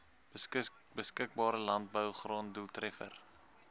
beskikbare landbougrond doeltreffender